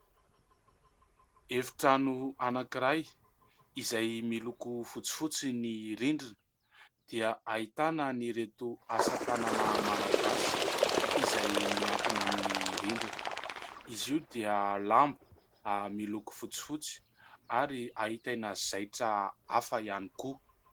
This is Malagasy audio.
Efitrano anankiray izay miloko fotsifotsy. Ny rindrina dia ahitana an'ireto asa tanana malagasy izay miankina amin'ny rindrina. Izy io dia lamba miloko fotsifotsy ary ahitana zaitra hafa ihany koa.